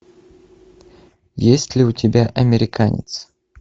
есть ли у тебя американец